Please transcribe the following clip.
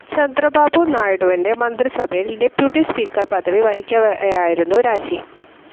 ചന്ദ്രബാബു നായിഡുവിൻ്റെ മന്ത്രിസഭയിൽ deputy speaker പദവി വഹിക്കവെയായിരുന്നു രാജി.